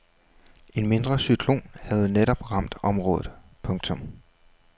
En mindre cyklon havde netop ramt området. punktum